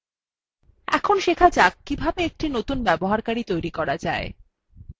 এখন শেখা যাক কিভাবে একটি নতুন ব্যবহারকারী তৈরী করা যায়